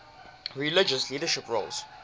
religious leadership roles